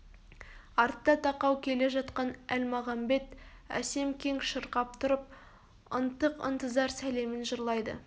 артта тақау келе жатқан әлмағамбет әсем кең шырқап тұрып ынтық-ынтызар сәлемін жырлайды